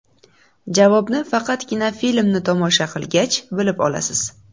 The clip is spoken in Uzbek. Javobni faqatgina filmni tomosha qilgach, bilib olasiz.